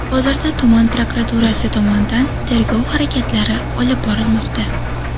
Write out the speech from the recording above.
Hozirda tuman prokuraturasi tomonidan tergov harakatlari olib borilmoqda.